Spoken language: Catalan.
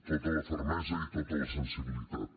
tota la fermesa i tota la sensibilitat